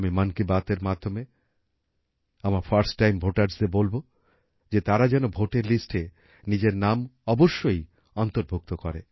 আমি মন কি বাতএর মাধ্যমে আমার ফার্স্ট টাইম ভোটার্সদের বলব যে তারা যেন ভোটের লিস্টে নিজের নাম অবশ্যই অন্তর্ভুক্ত করে